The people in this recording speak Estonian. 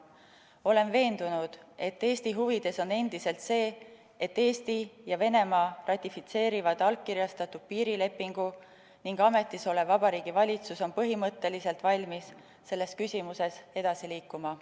Olen veendunud, et Eesti huvides on endiselt see, et Eesti ja Venemaa ratifitseerivad allkirjastatud piirilepingu ning ametisolev Vabariigi Valitsus on põhimõtteliselt valmis selles küsimuses edasi liikuma.